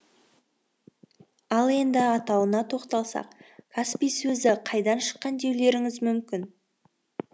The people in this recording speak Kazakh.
ал енді атауына тоқталсақ каспий сөзі қайдан шыққан деулеріңіз мүмкін